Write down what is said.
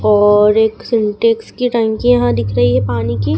और एक सिंटेक्स की टंकी यहां दिख रही है पानी की।